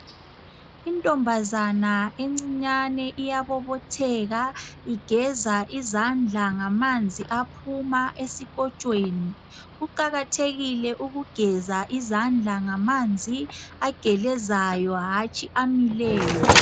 Intombazana encinyane iyabobotheka igeza izandla ngamanzi aphuma esikotshweni kuqakathekile ukugeza izandla ngamanzi agelezayo hatshi amileyo